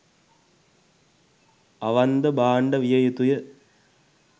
අවන්ද භාණ්ඩ විය යුතුය